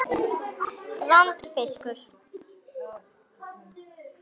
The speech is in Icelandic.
Vondur fiskur.